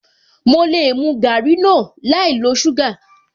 Mo lè mu garri náà láì lo suga